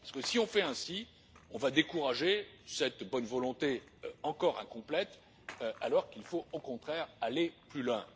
Si on fait ainsi, on va décourager cette bonne volonté encore incomplète, alors qu'il faut, au contraire, aller plus loin.